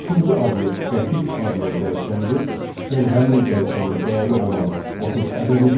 Üçüncü obyekt qəpik adlı dəyişəndir, yəni həmin dəyişənin dəyəri olan 30 ədədidir.